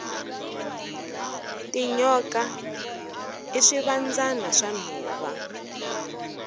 tinyoka i swivandzana swa nhova